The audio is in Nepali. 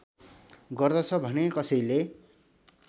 गर्दछ भने कसैले